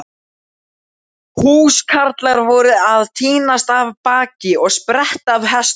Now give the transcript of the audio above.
Húskarlar voru að tínast af baki og spretta af hestum.